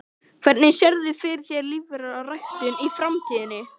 Hvernig sérðu fyrir þér lífræna ræktun í framtíðinni?